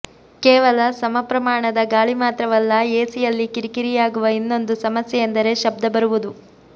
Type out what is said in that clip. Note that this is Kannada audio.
ಕೇವಲ ಸಮಪ್ರಮಾಣದ ಗಾಳಿ ಮಾತ್ರವಲ್ಲ ಎಸಿಯಲ್ಲಿ ಕಿರಿಕಿರಿಯಾಗುವ ಇನ್ನೊಂದು ಸಮಸ್ಯೆಯೆಂದರೆ ಶಬ್ಧ ಬರುವುದು